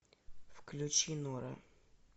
включи нора